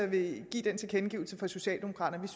vil give den tilkendegivelse fra socialdemokraterne